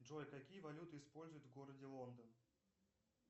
джой какие валюты используют в городе лондон